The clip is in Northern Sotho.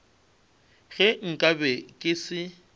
ge nka be ke se